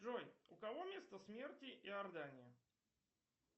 джой у кого место смерти иордания